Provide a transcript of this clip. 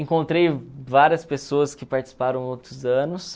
Encontrei várias pessoas que participaram outros anos.